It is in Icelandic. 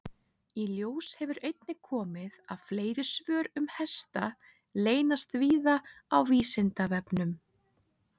Í ljós hefur einnig komið að fleiri svör um hesta leynast víða á Vísindavefnum.